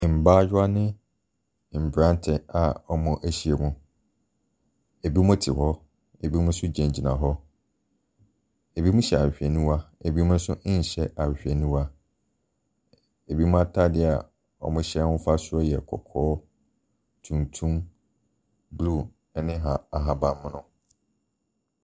Mbaayewa ne mmranteɛ a wɔahyiam. Ebinom te hɔ. Ebinom nso gyinagyina hɔ. Ebinom nhyɛ ahwehwɛniwa. Ebinom nso nhyɛ ahwehwɛniwa. Ebinom ataadeɛ a wɔhyɛ afasuo yɛ kɔkɔɔ, tuntum, blue ne aha ahabanmono.